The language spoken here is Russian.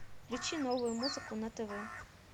включи новую музыку на тв